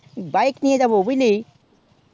bike নিয়ে যাবো বুঝলি